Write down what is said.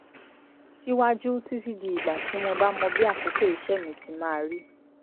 síwájú títí di ìgbà tí mo bá mọ bí àkókò iṣẹ́ mi ti máa rí